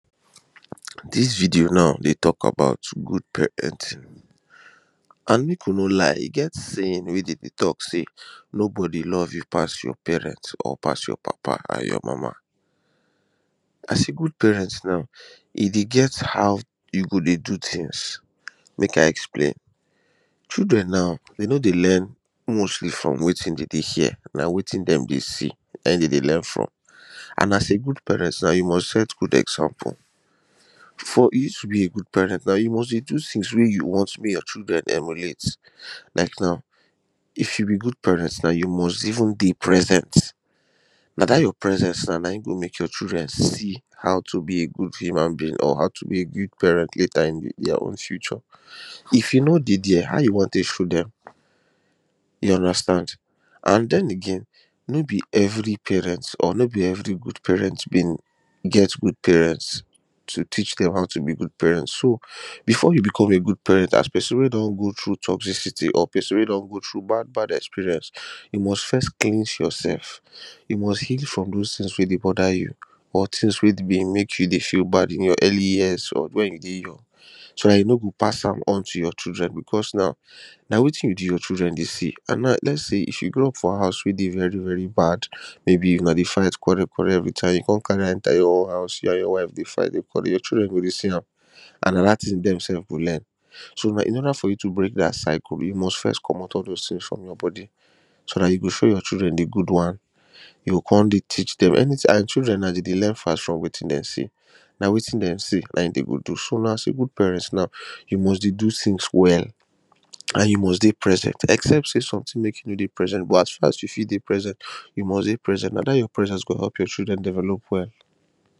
this video naw dey talk about good pa enting and make uno lie e get saying wey them dey talk sey no body love you pass your parent or pass your papa an your mama as a good parent now, e dey get how you go dey do things. make i explain children now, they no dey learn mostly from wetin dem dey hear na wetin dem dey see nahim dem dey learn from an as a good parent now you must set good example for you to be a good parent now you must dey do things wey you want make your children emulate. like now if you be good parent now, you must even dey present na that your presence now na him go make your children see how to be a good human being or how to be a good parent later in their own future. if you no dey there, how you wan take show dem? you understand an then again no be every parent or no be every good parent been get good parents to teach them how to be good parents so before you become a good parent as person wey don go through toxicity or person wey don go through bad bad experience, you must first cleanse yoursef you must heal from those things wey dey bother you or things wey been make you dey feel bad in your early years or when you dey young so dat you no go pass am on to your children because now na wetin you do your children dey see an now lets say you grow up for house wey dey very very bad, maybe una dey fight dey quarrel quarrel everytime you come carry am enter your own house you an your wife dey fight dey quarrel everytime your children go dey see am an na that thing sef dem go learn. so in order for you to break that cycle you must first comot all those things from your body so that you go show your children the good one you go come dey teach them anything. children na dem dey learn fast from wetin dem see. na wetin dem see na him dem go do. so now as a good parent now, you must dey do things well an you must dey present except sey something make you no dey present but as far as you fit dey present. you must dey present. that your presence go help your children develop well